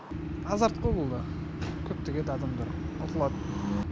азарт бұл да көптеген адамдар ұтылады